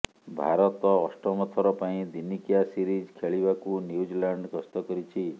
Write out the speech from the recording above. ଭାରତ ଅଷ୍ଟମ ଥର ପାଇଁ ଦିନିକିଆ ସିରିଜ୍ ଖେଳିବାକୁ ନ୍ୟୁଜିଲ୍ୟାଣ୍ଡ ଗସ୍ତ କରିଛି